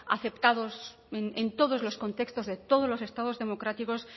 aceptados en todos los contextos de todos los estados democráticos